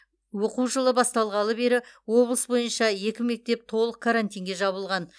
оқу жылы басталғалы бері облыс бойынша екі мектеп толық карантинге жабылған